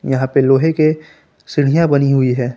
यहां पे लोहे के सीढ़ियां बनी हुई है।